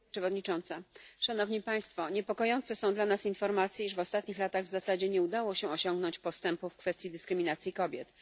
Pani Przewodnicząca! Niepokojące są dla nas informacje, iż w ostatnich latach w zasadzie nie udało się osiągnąć postępu w kwestii dyskryminacji kobiet.